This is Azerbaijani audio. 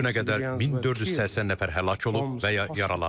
Bu günə qədər 1480 nəfər həlak olub və ya yaralanıb.